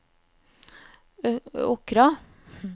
Åkra